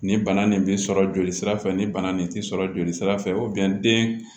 Nin bana nin bi sɔrɔ joli sira fɛ nin bana nin ti sɔrɔ joli sira fɛ den